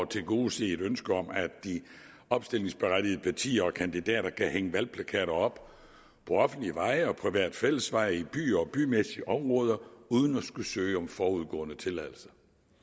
tilgodese et ønske om at de opstillingsberettigede partier og kandidater kan hænge valgplakater op på offentlige veje og private fællesveje i byer og bymæssige områder uden at skulle søge om forudgående tilladelse